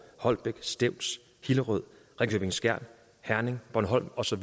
holbæk stevns hillerød ringkøbing skjern herning bornholm og så